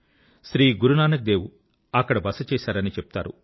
శ్రీ గురునానక్ దేవ్ అక్కడ బస చేశారని చెప్తారు